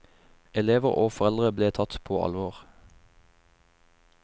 Elever og foreldre ble tatt på alvor.